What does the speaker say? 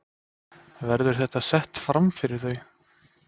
Verður þetta sett framfyrir þau?